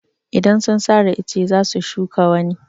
Idan sun sare ice za su shuka wani.